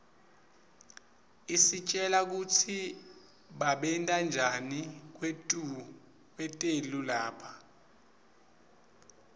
isitjela kutsi babentanjani kwetelu lapha